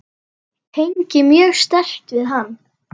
Tengi mjög sterkt við hann.